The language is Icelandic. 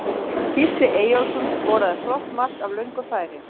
Gísli Eyjólfsson skoraði flott mark af löngu færi.